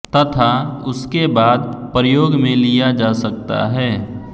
तथा उसके बाद प्रयोग में लिया जा सकता है